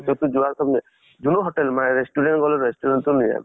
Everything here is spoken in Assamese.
যʼত তো যোৱাৰ যোনটো hotel মানে restaurant গলেও restaurant চব নিৰামিষ।